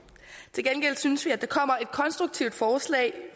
til gengæld synes vi at der kommer et konstruktivt forslag